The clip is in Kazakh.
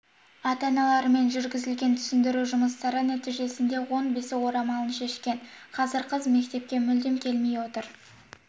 ата-аналарымен жүргізілген түсіндіру жұмыстары нәтижесінде он бесі орамалын шешкен қазір қыз мектепке мүлдем келмей отыр